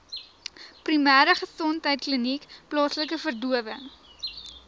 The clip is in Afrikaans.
primêregesondheidkliniek plaaslike verdowing